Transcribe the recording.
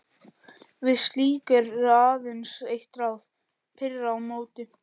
Við slíku er aðeins eitt ráð: pirra á móti.